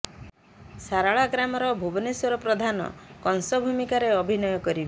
ସାରଳା ଗ୍ରାମର ଭୁବନେଶ୍ୱର ପ୍ରଧାନ କଂସ ଭୂମିକାରେ ଅଭିନୟ କରିବେ